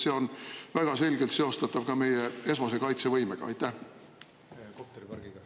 See on väga selgelt seostatav ka meie esmase kaitsevõimega?